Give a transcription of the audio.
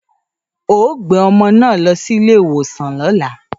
‘O óò gbé o̩mo̩ náà lo̩ sí ilé ìwòsàn ló̩la!